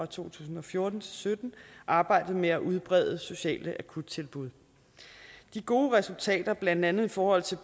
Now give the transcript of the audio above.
to tusind og fjorten sytten arbejdet med at udbrede sociale akuttilbud de gode resultater blandt andet i forhold til